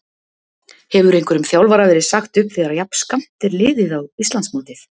Hefur einhverjum þjálfara verið sagt upp þegar jafn skammt er liðið á Íslandsmótið?